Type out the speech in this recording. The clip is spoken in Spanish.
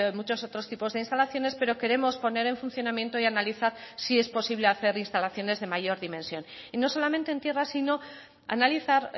muchos otros tipos de instalaciones pero queremos poner en funcionamiento y analizar si es posible hacer instalaciones de mayor dimensión y no solamente en tierra sino analizar